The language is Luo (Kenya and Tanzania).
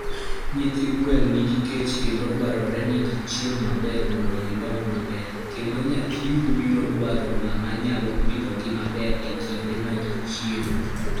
Nyithi gwen nigi kech kendo dwarore ni gichiem maber mondo gidong maber, kendo nyathiu biro dwaro ng'ama nyalo pidhogi maber e kinde mag chiemo.